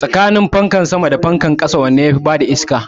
Tsakanin fanka sama da fankan ƙasa wanne yafi bada iska?